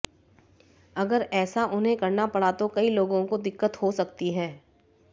अगर ऐसा उन्हें करना पड़ा तो कई लोगों को दिक्कत हो सकती है